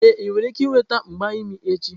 Ee, ị nwere ike ịnweta mgba n'imi echi.